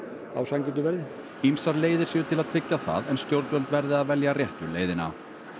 á sanngjörnu verði ýmsar leiðir séu til að tryggja það en stjórnvöld verði að velja réttu leiðina